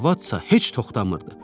Arvadsa heç toxtamırdı.